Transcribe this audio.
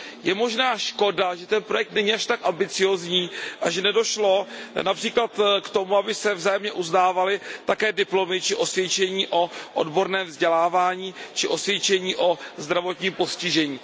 Je možná škoda, že ten projekt není až tak ambiciózní a že nedošlo například k tomu, aby se vzájemně uznávaly také diplomy či osvědčení o odborném vzdělávání či osvědčení o zdravotním postižení.